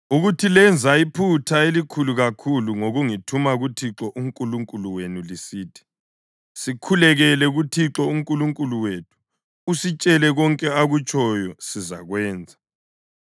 ukuthi lenza iphutha elikhulu kakhulu ngokungithuma kuThixo uNkulunkulu wenu lisithi, ‘Sikhulekele kuThixo uNkulunkulu wethu; usitshele konke akutshoyo sizakwenza.’